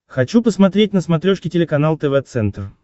хочу посмотреть на смотрешке телеканал тв центр